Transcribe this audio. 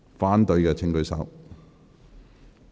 反對的請舉手。